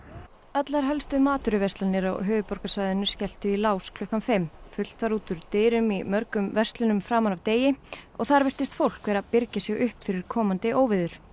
allar helstu matvöruverslanir á höfuðborgarsvæðinu skelltu í lás klukkan fimm fullt var út úr dyrum í mörgum verslunum framan af degi og þar virtist fólk vera að birgja sig upp fyrir komandi óveður